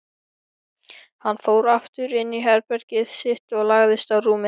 Hann fór aftur inní herbergið sitt og lagðist á rúmið.